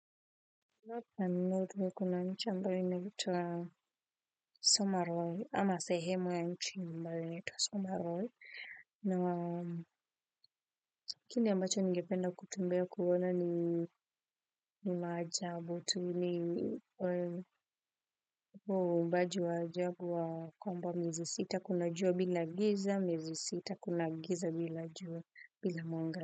North and North huwa kuna mchamba inatwa Somaroy ama sehemu ya nchi ambaye inaitwa Somaroy, Na kini ambacho nigependa kutumbea kuona ni ni maajabu, tu ni mbaji wa ajabu wa kwamba miezi sita kuna jua bila giza, miezi sita kuna giza bila jua bila mwanga.